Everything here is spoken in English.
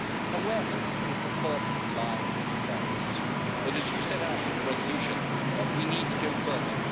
Awareness is the first line of defence, but, as you set out in your resolution, we need to go further.